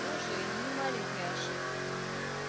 тоже не маленькая ошибка